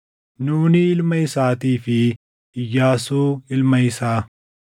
Nuuni ilma isaatii fi Iyyaasuu ilma isaa.